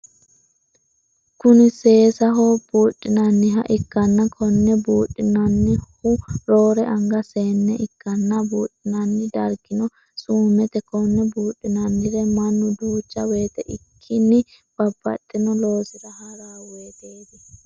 Kunni seesaho buudhinnanniha ikanna konne buudhanohu roore anga seenne ikanna buudhinnanni dargino suumete. Konne buudhinnannire mannu duucha woyite ikikinni babbaxino loosira haro woyiteetti.